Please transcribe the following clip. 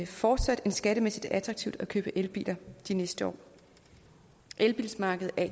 fortsat skattemæssigt attraktivt at købe elbiler de næste år elbilmarkedet er